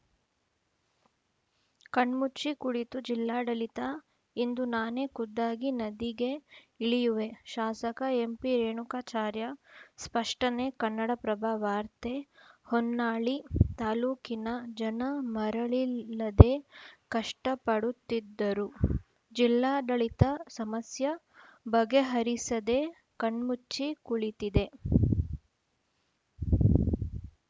ಕಣ್ಮುಚ್ಚಿ ಕುಳಿತು ಜಿಲ್ಲಾಡಳಿತ ಇಂದು ನಾನೇ ಖುದ್ದಾಗಿ ನದಿಗೆ ಇಳಿಯುವೆ ಶಾಸಕ ಎಂಪಿರೇಣುಕಾಚಾರ್ಯ ಸ್ಪಷ್ಟನೆ ಕನ್ನಡಪ್ರಭ ವಾರ್ತೆ ಹೊನ್ನಾಳಿ ತಾಲೂಕಿನ ಜನ ಮರಳಿಲ್ಲದೆ ಕಷ್ಟಪಡುತ್ತಿದ್ದರು ಜಿಲ್ಲಾಡಳಿತ ಸಮಸ್ಯೆ ಬಗೆಹರಿಸದೇ ಕಣ್ಮುಚ್ಚಿ ಕುಳಿತಿದೆ